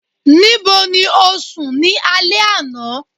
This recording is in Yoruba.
nibo ni o sùn ni alẹ ana?